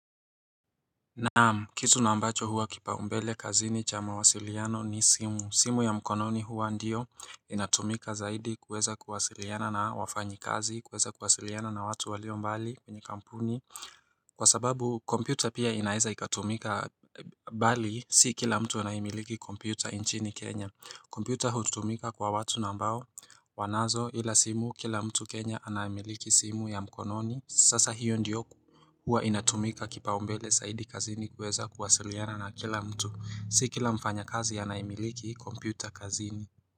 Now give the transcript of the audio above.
Naamu, kitu na ambacho huwa kipaumbele kazini cha mawasiliano ni simu. Simu ya mkononi huwa ndiyo inatumika zaidi kuweza kuwasiliana na wafanyikazi, kuweza kuwasiliana na watu walio mbali kwenye kampuni. Kwa sababu, kompyuta pia inaeza ikatumika bali, si kila mtu anaimiliki kompyuta inchini Kenya. Kmpyuta hutumika kwa watu na ambao wanazo ila simu kila mtu Kenya anamiliki simu ya mkononi Sasa hiyo ndiyo kuwa inatumika kipaumbele saidi kazini kuweza kuwasiliana na kila mtu si kila mfanyakazi anaimiliki kompyuta kazini.